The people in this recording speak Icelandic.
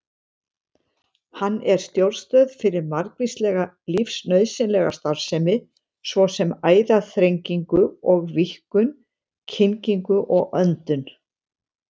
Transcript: Hann er stjórnstöð fyrir margvíslega lífsnauðsynlega starfsemi, svo sem æðaþrengingu og-víkkun, kyngingu og öndun.